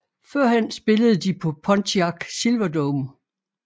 Førhen spillede de på Pontiac Silverdome